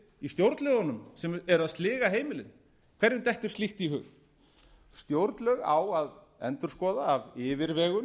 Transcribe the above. í stjórnlögunum sem eru að sliga heimilin hverjum dettur slíkt í hug stjórnlög á að endurskoða af yfirvegun